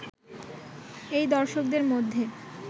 এই দর্শকদের মধ্যে